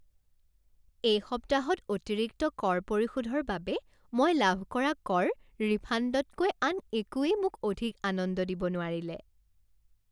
এই সপ্তাহত অতিৰিক্ত কৰ পৰিশোধৰ বাবে মই লাভ কৰা কৰ ৰিফাণ্ডতকৈ আন একোৱেই মোক অধিক আনন্দ দিব নোৱাৰিলে।